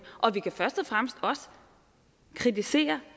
og vi kan først og fremmest kritisere